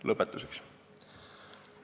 Lõpetuseks.